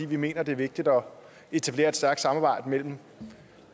vi mener det er vigtigt at etablere et stærkt samarbejde mellem